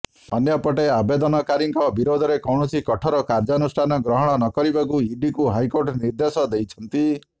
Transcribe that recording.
ଅନ୍ୟପଟେ ଆବେଦନକାରୀଙ୍କ ବିରୋଧରେ କୌଣସି କଠୋର କାର୍ଯ୍ୟାନୁଷ୍ଠାନ ଗ୍ରହଣ ନକରିବାକୁ ଇଡିକୁ ହାଇକୋର୍ଟ ନିର୍ଦ୍ଦେଶ ଦେଇଛନ୍ତି